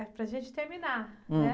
É, para a gente terminar, né?